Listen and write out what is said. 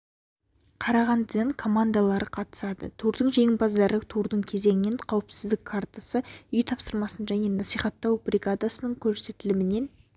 қарағандыдан командалары қатысады турдың жеңімпаздары турдың кезеңінен қауіпсіздік картасы үй тапсырмасын және насихаттау бригадасының көрсетілімінен